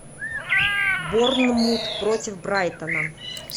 борнмут против брайтона